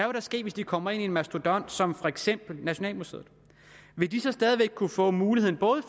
vil ske hvis de kommer ind under en mastodont som for eksempel nationalmuseet vil de så stadig væk kunne få mulighed